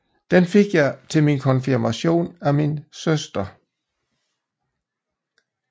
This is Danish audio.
Den fik jeg til min Konfirmation af min Søster